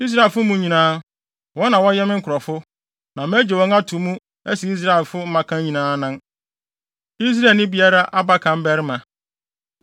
Israelfo mu nyinaa, wɔn na wɔyɛ me nkurɔfo, na magye wɔn ato mu asi Israelfo mmakan nyinaa anan, Israelni bea biara abakan barima.